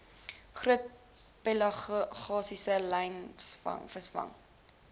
groot pelagiese langlynvisvangs